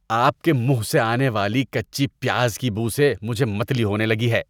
آپ کے منہ سے آنے والی کچی پیاز کی بو سے مجھے متلی ہونے لگی ہے۔